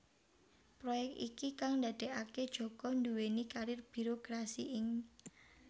Proyek iki kang ndadekaké Djoko nduwèni karir birokrasi ing